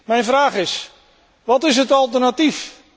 Mijn vraag is wat is het alternatief?